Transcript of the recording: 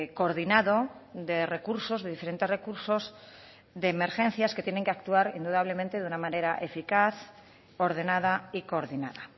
coordinado de recursos de diferentes recursos de emergencias que tienen que actuar indudablemente de una manera eficaz ordenada y coordinada